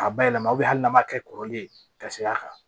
A ba yɛlɛma u bɛ hali n'a ma kɛ kɔrɔlen ka seg'a kan